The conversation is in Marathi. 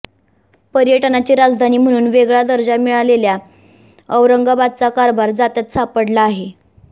पर्यटनाची राजधानी म्हणून वेगळा दर्जा मिळालेल्या औरंगाबादचा कारभार जात्यात सापडला आहे